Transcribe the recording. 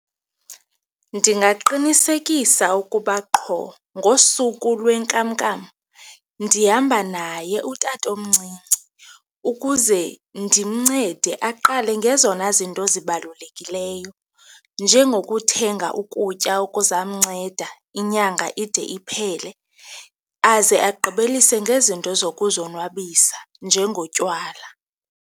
Ndingaqinisekisa ukuba qho ngosuku lwenkamnkam ndihamba naye utatomncinci ukuze ndimncede aqale ngezona zinto zibalulekileyo, njengokuthenga ukutya okuzawumnceda inyanga ide iphele aze agqibelise ngezinto zokuzonwabisa njengotywala.